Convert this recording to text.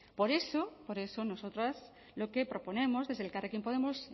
por eso por eso nosotras lo que proponemos desde elkarrekin podemos